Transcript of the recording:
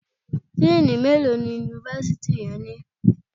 Díínì mélòó ni Yunifásítì rẹ ní?